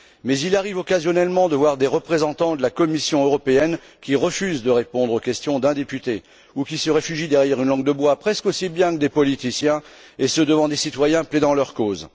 Mais il arrive occasionnellement de voir des représentants de la Commission qui refusent de répondre aux questions d'un député ou qui se réfugient derrière une langue de bois, presque aussi bien que des politiciens, et ce devant des citoyens plaidant leur cause.